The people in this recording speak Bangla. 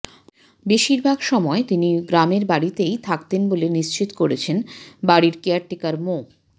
বেশির ভাগ সময় তিনি গ্রামের বাড়িতেই থাকতেন বলে নিশ্চিত করেছেন বাড়ির কেয়ারটেকার মো